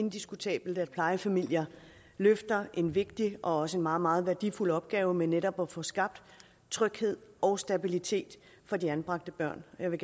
indiskutabelt at plejefamilier løfter en vigtig og også en meget meget værdifuld opgave med netop at få skabt tryghed og stabilitet for de anbragte børn jeg vil